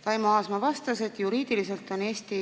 Taimo Aasma vastas, et juriidiliselt on Eesti